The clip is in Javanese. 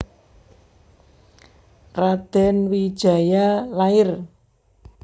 Radèn Wijaya lair